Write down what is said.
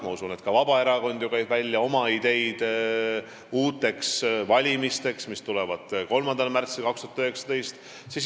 Ma usun, et ka Vabaerakond ju käib välja oma ideid valimisteks, mis tulevad 3. märtsil 2019.